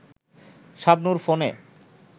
শাবনূর ফোনে